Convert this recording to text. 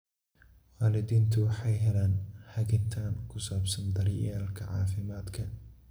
Waalidiintu waxay helaan hagitaan ku saabsan daryeelka caafimaadka.